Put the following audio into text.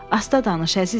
Asta danış, əzizim.